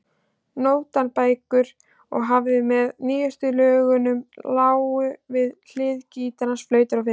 Nótnabækur og hefti með nýjustu lögunum lágu við hlið gítars, flautu og fiðlu.